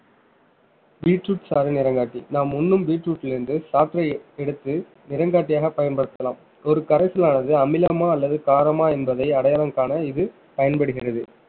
beetroot சாறு நிறங்காட்டி நாம் உண்ணும் பீட்ரூட்ல இருந்து சாற்றை எடுத்து நிறங்காட்டியாக பயன்படுத்தலாம் ஒரு கரைச்சலானது அமிலமா அல்லது காரமா என்பதை அடையாளம் காண இது பயன்படுகிறது